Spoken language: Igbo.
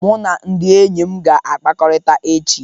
Mụ na ndị enyi m ga-akpakọrịta echi